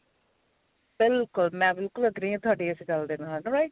ਬਿਲਕੁਲ ਮੈਂ ਬਿਲਕੁਲ agree ਆਂ ਤੁਹਾਡੀ ਇਸ ਗੱਲ ਦੇ ਨਾਲ write